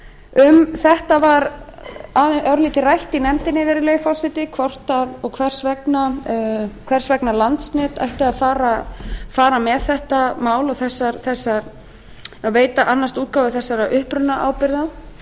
um þetta var örlítið rætt í nefndinni virðulegi forseti hvers vegna landsnet ætti að fara með þetta mál og veita og annast útgáfu þessara upprunaábyrgða